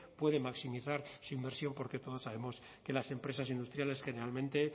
puede maximizar su inmersión porque todos sabemos que las empresas industriales generalmente